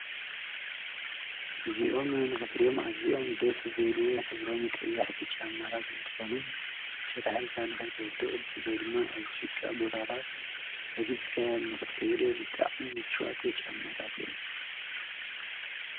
አዚኦም ንክትርእዮም ኣዚዮም ደስ ዝብሉ ሕብሮም ቀያሕቲ ጫማ እንትኮኑ ሸታሕ ኢልካ ንከይትወድቅ ብፍላይ ድማ ኣብ ጭቃ ቦታታት ረጊፅካዮ ክትከይድ ብጣዕሚ ሙችዋት ጫማታት እዮም፡፡